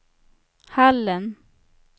Hallen